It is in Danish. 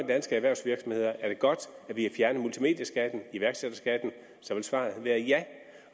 danske erhvervsvirksomheder er godt at vi har fjernet multimedieskatten og iværksætterskatten så vil svaret være ja